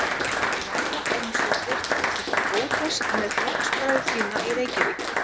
Lára Ómarsdóttir: Ertu óhress með flokksbræður þína í Reykjavík?